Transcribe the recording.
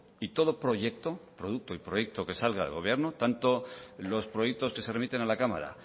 y todo proyecto que salga del gobierno tanto los proyectos que se remiten a la cámara